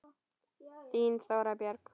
Þín, Þóra Björg.